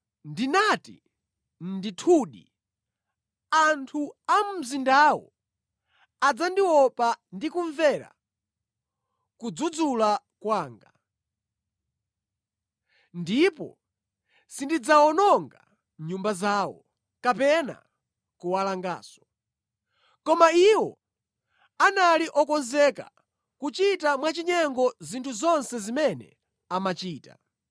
Ndinati, ‘Ndithudi, anthu a mu mzindawu adzandiopa ndi kumvera kudzudzula kwanga!’ Ndipo sindidzawononga nyumba zawo, kapena kuwalanganso. Koma iwo anali okonzeka kuchita mwachinyengo zinthu zonse zimene amachita.